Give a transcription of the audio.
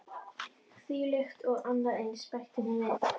Þvílíkt og annað eins- bætti hún við.